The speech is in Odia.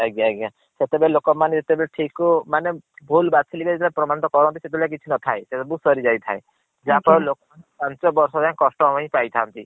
ଆଜ୍ଞା ଆଜ୍ଞା ସେତେବେଳେ ଲୋକମାନେ ଜେତବେଳେ ଠିକ କୁ ମାନେ ଭୁଲ୍ ବାଛି ଦେଇ ଛନ୍ତି ବୋଲି ପ୍ରମାଣିତ କରନ୍ତି ସେତବେଳେ ଆଉ କିଛି ନ ଥାଏ ସବୁ ସରି ଯାଇ ଥାଏ। ଯାହା ଫଳ ଆଛା। ରେ ଲୋକ ପାଂଚ ବର୍ଷ ଜାଏ କସ୍ତ ହିଏ ପାଇ ଥାନ୍ତି।